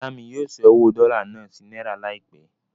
Ìyá mí yóò ṣẹ́ owó dọ́là náà sí náírà láìpẹ́.